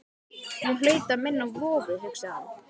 Hún hlaut að minna á vofu, hugsaði hún.